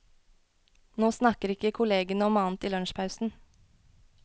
Nå snakker ikke kollegene om annet i lunsjpausen.